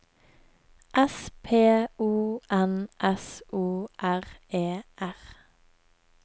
S P O N S O R E R